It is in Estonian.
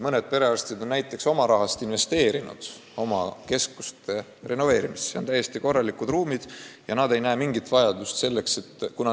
Mõned perearstid on oma raha kulutanud oma keskuse renoveerimisse, neil on täiesti korralikud ruumid ja nad ei näe mingit vajadust kolida.